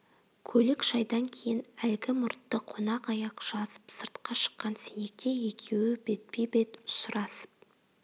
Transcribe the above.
көлік шайдан кейін әлгі мұртты қонақ аяқ жазып сыртқа шыққан сенекте екеуі бетпе-бет ұшырасып